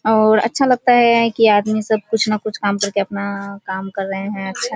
और अच्छा लगता है कि आदमी सब कुछ ना कुछ काम कर के अपना काम कर रहें हैं।